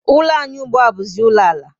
Ụlọ anyị ùgbúà buzi ụlọ ala